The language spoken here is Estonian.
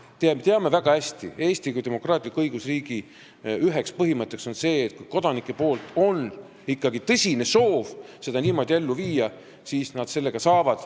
Me teame väga hästi, et Eesti kui demokraatliku õigusriigi üks põhimõtteid on see, et kui kodanikel on ikkagi tõsine soov seda niimoodi ellu viia, siis nad seda ka saavad.